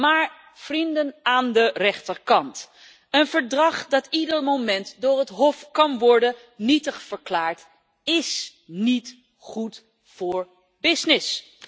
Maar, vrienden aan de rechterkant, een verdrag dat ieder moment door het Hof nietig kan worden verklaard, is niet goed voor business.